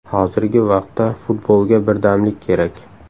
Hozirgi vaqtda futbolga birdamlik kerak.